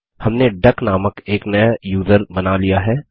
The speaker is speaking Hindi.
हमने डक नामक एक नया यूज़र बना लिया है